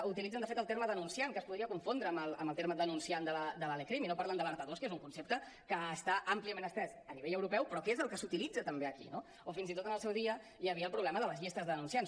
utilitzen de fet el terme denunciant que es podria confondre amb el terme denunciant de la lecrim i no parlen de alertadors que és un concepte que està àmpliament estès a nivell europeu però que és el que s’utilitza també aquí no o fins i tot en el seu dia hi havia el problema de les llistes de denunciants